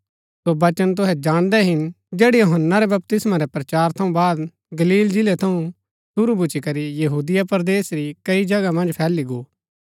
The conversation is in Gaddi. सो वचन तुहै जाणदै हिन जैडा यूहन्‍ना रै बपतिस्मा रै प्रचार थऊँ बाद गलील जिलै थऊँ शुरू भूच्ची करी यहूदिया परदेस री कई जगह मन्ज फैली गो